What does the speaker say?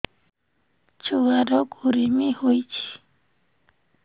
ଛୁଆ ର କୁରୁମି ହୋଇଛି